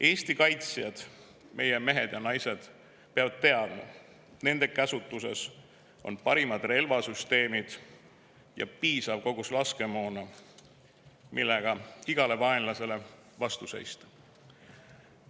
Eesti kaitsjad, meie mehed ja naised, peavad teadma, et nende käsutuses on parimad relvasüsteemid ja piisav kogus laskemoona, millega igale vaenlasele vastu seista.